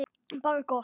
Bara gott.